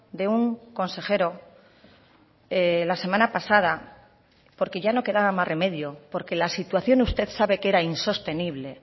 de un consejero la semana pasada porque ya no quedaba más remedio porque la situación usted sabe que era insostenible